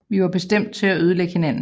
Vi var bestemt til at ødelægge hinanden